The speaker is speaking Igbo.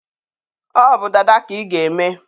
ọ bụ dada ka ị ga-eme!